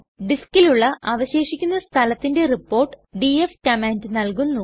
ഡിസ്കിലുള്ള അവശേഷിക്കുന്ന സ്ഥലത്തിന്റെ report df command നല്കുന്നു